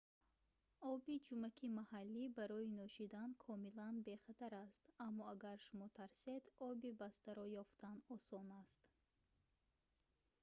оби ҷумаки маҳаллӣ барои нӯшидан комилан бехатар аст аммо агар шумо тарсед оби бастаро ёфтан осон аст